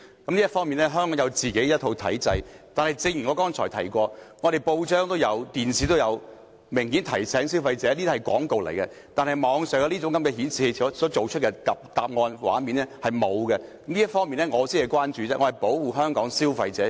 在這方面，香港本身有一套體制，但正如我剛才提及，本地報章及電視明顯有提醒消費者這些是廣告，但網上搜尋引擎的搜尋結果或畫面卻沒有這樣做，這方面才是我的關注，我是保護香港的消費者。